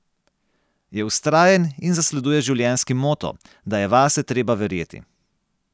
Je vztrajen in zasleduje življenjski moto, da je vase treba verjeti.